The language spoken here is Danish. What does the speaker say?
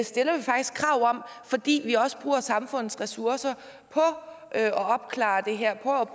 fordi vi også bruger samfundets ressourcer på at opklare det her